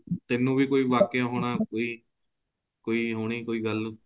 ਤੇਨੂੰ ਵੀ ਕੋਈ ਵਾਕੇ ਹੋਣਾ ਕੋਈ ਕੋਈ ਹੋਣੀ ਕੋਈ ਗੱਲ